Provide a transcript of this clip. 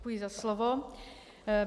Děkuji za slovo.